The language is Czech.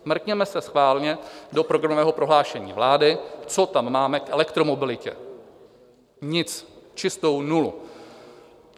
Mrkněme se schválně do programového prohlášení vlády, co tam máme k elektromobilitě: nic, čistou nulu.